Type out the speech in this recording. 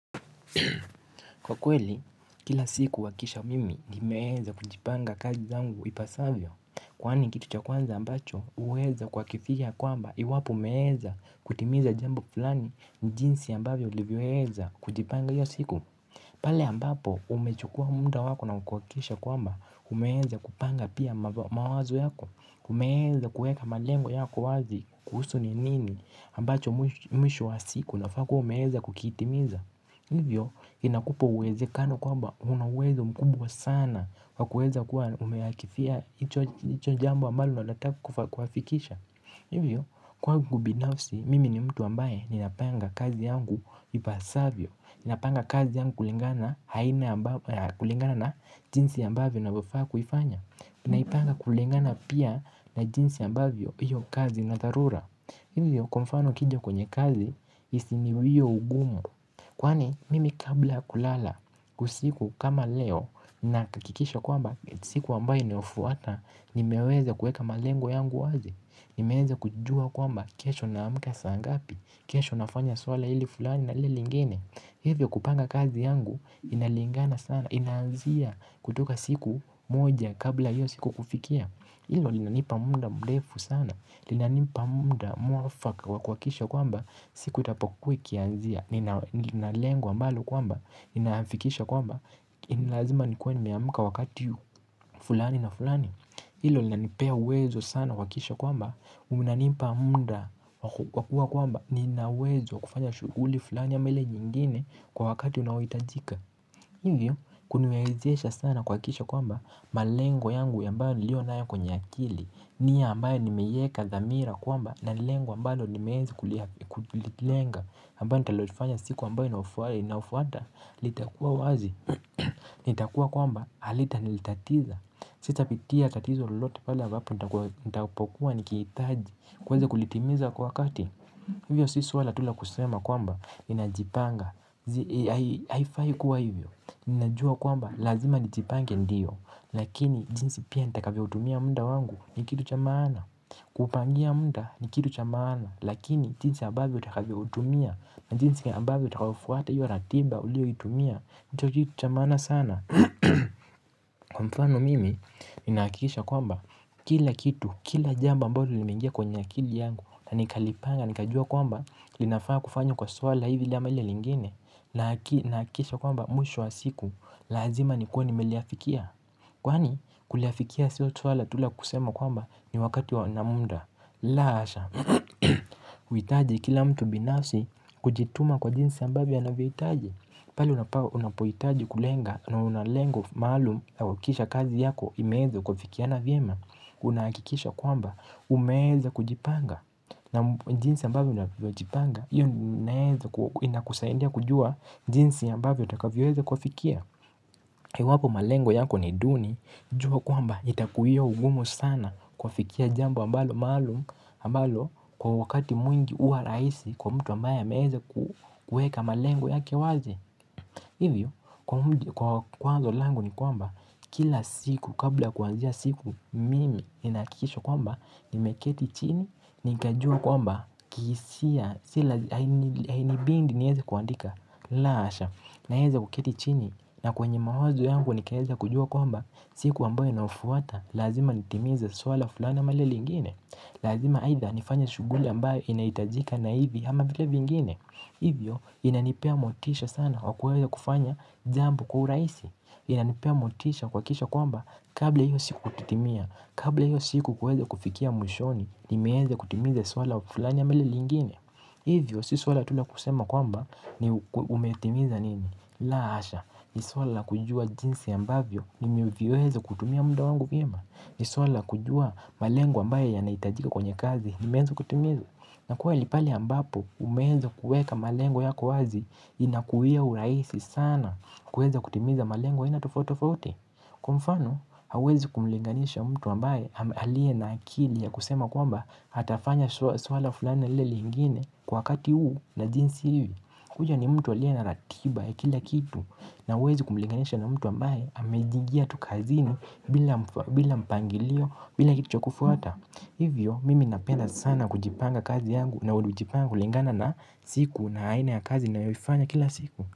Kwa kweli, kila siku huhakikisha mimi nimeweza kujipanga kazi zangu ipasavyo kwani kitu cha kwanza ambacho huweza kuhakikisha kwamba iwapo umeweza kutimiza jambo fulani jinsi ambavyo ulivyoweza kujipanga hiyo siku. Pale ambapo umechukua muda wako na kuhakikisha kwamba umeweza kupanga pia mawazo yako umeweza kuweka malengo yako wazi kuhusu ni nini ambacho mwisho wa siku unafaa kuwa umeweza kukitimiza. Hivyo inakupa uwezekano kwamba una uwezo mkubwa sana wa kuweza kuwa umeakifia hicho jambo ambalo unalotaka kuafikisha. Hivyo kwangu binafsi mimi ni mtu ambaye ninapanga kazi yangu ipasavyo ninapanga kazi yangu kulingana na jinsi ambavyo navyofaa kuifanya naipanga kulingana pia na jinsi ambavyo hiyo kazi ina dharura hivyo kwa mfano ukija kwenye kazi isiniwie ugumu kwani mimi kabla kulala usiku kama leo nahakikisha kwamba siku ambayo inayofuata nimeweza kuweka malengo yangu wazi nimeweza kujua kwamba kesho naamka saa ngapi, kesho nafanya swala hili fulani na hili lingine hivyo kupanga kazi yangu inalingana sana, inaanzia kutoka siku moja kabla hiyo siku kufikia hilo linanipa muda mrefu sana, linanipa muda mwafaka kwa kuhakikisha kwamba siku itapokuwa ikianzia, nina lengo ambalo kwamba ninafikisha kwamba ni lazima nikuwe nimeamka wakati fulani na fulani hilo linanipea uwezo sana kuhakikisha kwamba unanipa muda wa kuwa kwamba nina uwezo wa kufanya shughuli fulani ama ile nyingine kwa wakati unaohitajika hivyo kuniwezesha sana kuhakikisha kwamba malengo yangu ambayo niliyo nayo kwenye akili. Nia ambayo nimeiweka dhamira kwamba na lengo ambalo nimeenzi kulilenga ambayo nitalolifanya siku ambayo inafuata litakuwa wazi, na itakuwa kwamba halitanitatiza sitapitia tatizo lolote pale ambapo nitapokuwa nikihitaji kuweza kulitimiza kwa wakati hivyo si swala tu la kusema kwamba ninajipanga. Haifai kuwa hivyo. Ninajua kwamba lazima nijipange ndiyo lakini jinsi pia nitakavyoutumia muda wangu ni kitu cha maana kuupangia muda ni kitu cha maana lakini jinsi ambavyo utakavyoutumia na jinsi ambavyo utakavyofuata hiyo ratiba uliyoitumia ndicho kitu cha maana sana. Kwa mfano mimi ninahakikisha kwamba kila kitu, kila jambo ambalo limeingia kwenye akili yangu na nikalipanga, nikajua kwamba linafaa kufanywa kwa swala hivi ama hili lingine nahakikisha kwamba mwisho wa siku lazima nikuwe nimeliafikia kwani kuliafikia siyo swala tu la kusema kwamba ni wakati na muda la hasha huhitaji kila mtu binafsi kujituma kwa jinsi ambavyo anavyohitaji pale unapohitaji kulenga na una lengo maalumu kuhakikisha kazi yako imeweza kuafikiana vyema unahakikisha kwamba umeweza kujipanga na jinsi ambavyo unavyojipanga hiyo inakusaidia kujua jinsi ambavyo utakavyoweza kuafikia. Iwapo malengo yako ni duni jua kwamba itakuwia ugumu sana kuafikia jambo ambalo maalumu ambalo kwa wakati mwingi huwa rahisi kwa mtu ambaye ameweza kuweka malengo yake wazi hivyo kwa wazo langu ni kwamba kila siku kabla kuanzia siku mimi ninahakikisha kwamba nimeketi chini, nikajua kwamba kihisia hainibidi niweze kuandika la hasha naweza kuketi chini na kwenye mawazo yangu nikaweza kujua kwamba siku ambayo inayofuata lazima nitimize swala fulani ama hili lingine. Lazima aidha nifanye shughuli ambayo inahitajika na hivi ama vile vingine hivyo inanipea motisha sana kwa kuweza kufanya jambo kwa urahisi. Inanipea motisha kuhakikisha kwamba kabla hiyo siku kutimia kabla hiyo siku kuweza kufikia mwishoni nimeweza kutimiza swala fulani ama hili lingine. Hivyo, si swala tu la kusema kwamba umetimiza nini la hasha ni swala la kujua jinsi ambavyo nimeweza kutumia muda wangu vyema ni swala la kujua malengo ambayo yanahitajika kwenye kazi nimeweza kutimiza na kweli pale ambapo umeweza kuweka malengo kwa wazi inakuwia urahisi sana. Kuweza kutimiza malengo ya aina tofauti tofauti. Kwa mfano, hauwezi kumlinganisha mtu ambaye aliye na akili ya kusema kwamba atafanya swala fulani na lile lingine kwa wakati huu na jinsi hii huyo ni mtu aliye na ratiba ya kila kitu na hauwezi kumlinganisha na mtu ambaye amejigia tu kazini bila bila mpangilio bila kitu cha kufuata. Hivyo, mimi napenda sana kujipanga kazi yangu na hujipanga kulingana na siku na aina ya kazi ninayoifanya kila siku.